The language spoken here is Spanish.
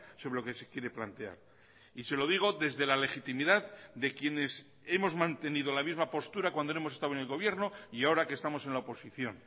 sobre lo que se quiere plantear y se lo digo desde la legitimidad de quienes hemos mantenido la misma postura cuando hemos estado en el gobierno y ahora que estamos en la oposición